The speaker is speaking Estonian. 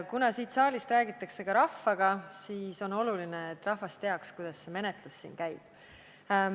Kuna siit saalist räägitakse ka rahvaga, siis on oluline, et rahvas teaks, kuidas siinne menetlus käib.